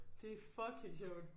Det fucking sjovt